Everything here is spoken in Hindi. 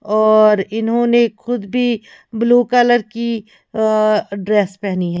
और इन्होंने खुद भी ब्लू कलर की अहह ड्रेस पहनी है।